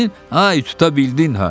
Ay, tuta bildin ha!